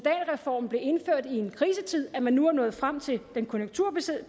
reformen blev indført i en krisetid at man nu er nået frem til det konjunkturbaserede